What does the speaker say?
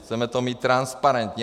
Chceme to mít transparentní.